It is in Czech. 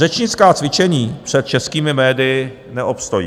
Řečnická cvičení před českými médii neobstojí.